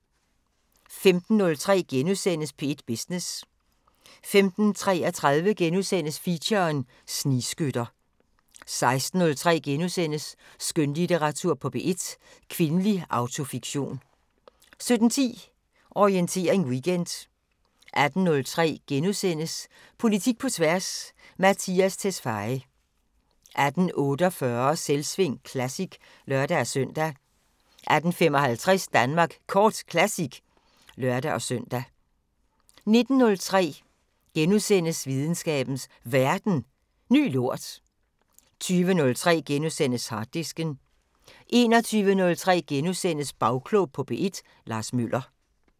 15:03: P1 Business * 15:33: Feature: Snigskytter * 16:03: Skønlitteratur på P1: Kvindelig autofiktion * 17:10: Orientering Weekend 18:03: Politik på tværs: Mattias Tesfaye * 18:48: Selvsving Classic (lør-søn) 18:55: Danmark Kort Classic (lør-søn) 19:03: Videnskabens Verden: Ny lort * 20:03: Harddisken * 21:03: Bagklog på P1: Lars Møller *